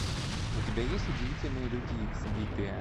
у тебя есть удивительные люди икс битые